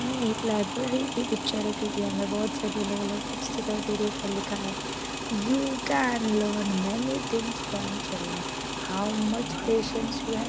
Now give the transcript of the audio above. यहा एक लाइब्रेरी की पिक्चर है क्यूकी हमे बहुत सारी अलग अलग बुक्स दिखाई दे रही उपर लिखा है you can learn many things from children how much patience you have --